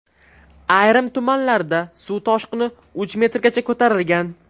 Ayrim tumanlarda suv toshqini uch metrgacha ko‘tarilgan.